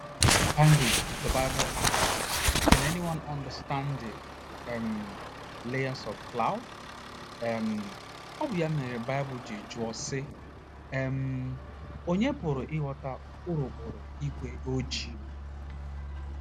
ngly, the Bible asks: “ Can anyone understand the um layers of clouds? um ” Ọ bụ ya mere Baịbụl ji jụọ, sị: um “ Ònye pụrụ ịghọta urukpuru ígwé ojii? ”